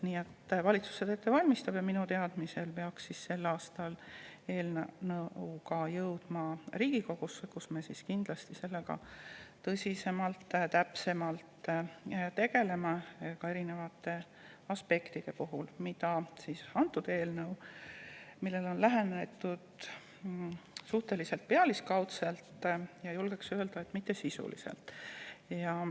Nii et valitsus seda ette valmistab ja minu teadmisel peaks see eelnõu sel aastal jõudma ka Riigikogusse, kus me kindlasti sellega tõsiselt tegeleme, ka erinevate aspektidega, millele antud eelnõus on lähenetud suhteliselt pealiskaudselt ja, julgeksin öelda, mitte sisuliselt.